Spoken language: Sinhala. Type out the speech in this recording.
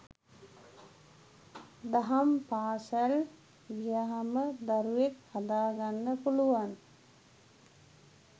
දහම් පාසල් ගියහම දරුවෙක් හදාගන්න පුළුවන්.